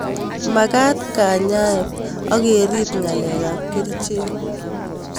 Magat kanyaet ak kerip ng'alek ab kerichek